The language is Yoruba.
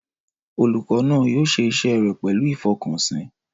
Olùkọ́ náà yóò ṣe iṣẹ́ rẹ̀ pẹ̀lú ìfọkànsìn.